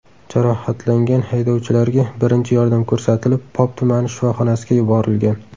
Jarohatlangan haydovchilarga birinchi yordam ko‘rsatilib, Pop tumani shifoxonasiga yuborilgan.